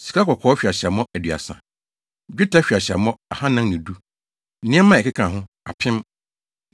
sikakɔkɔɔ hweaseammɔ 2 30 1 dwetɛ hweaseammɔ 2 410 1 nneɛma a ɛkeka ho 2 1,000